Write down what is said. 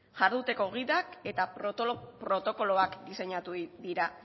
jarduteko gidak eta protokoloak diseinatu dira